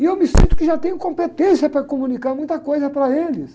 E eu me sinto que já tenho competência para comunicar muita coisa para eles.